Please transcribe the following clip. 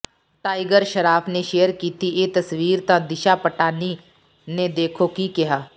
tiger Shroff ਨੇ share ਕੀਤੀ ਇਹ ਤਸਵੀਰ ਤਾਂ ਦਿਸ਼ਾ ਪਟਾਨੀ ਨੇ ਦੇਖੋ ਕੀ ਕਿਹਾ